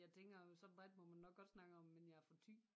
Jeg tænker så bredt må man nok godt snakke om men jeg er fra Thy